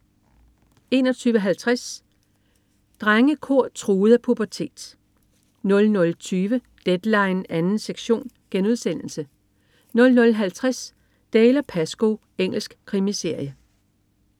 21.50 Drengekor truet af pubertet 00.20 Deadline 2. sektion* 00.50 Dalziel & Pascoe. Engelsk krimiserie